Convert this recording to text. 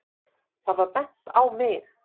Það var bent á mig.